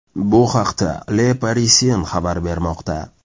Bu haqda Le Parisien xabar bermoqda .